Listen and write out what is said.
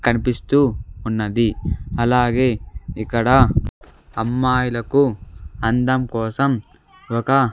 కనిపిస్తూ ఉన్నది అలాగే ఇక్కడ అమ్మాయిలకు అందం కోసం ఒక--